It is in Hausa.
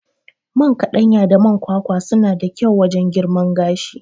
Man kaɗanya da man kwakwa suna da kyau wajan girman gashi